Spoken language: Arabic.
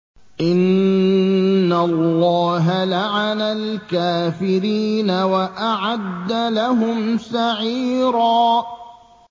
إِنَّ اللَّهَ لَعَنَ الْكَافِرِينَ وَأَعَدَّ لَهُمْ سَعِيرًا